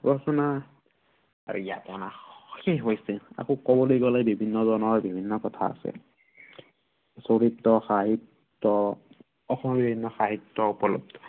ৰচনা আৰু ইয়াৰ দ্বাৰা শেষ হৈছে। ইয়াকো কবলৈ গলে বিভিন্নজনৰ বিভিন্ন কথা আছে। চৰিত, সাহিত্য়, সাহিত্য়ৰ ওপৰিও